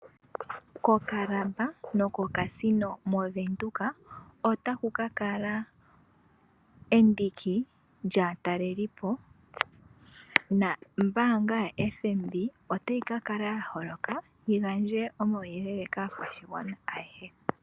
Kokalaba nokoCasino movenduka otaku kakala endiki lyaatalelipo, nombaanga yaFNB otayi kakala ya holoka, opo yigandje omauyelele kaakwashigwana ayehe.